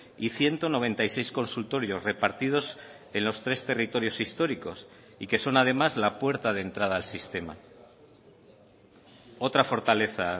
y ciento noventa y seis consultorios repartidos en los tres territorios históricos y que son además la puerta de entrada al sistema otra fortaleza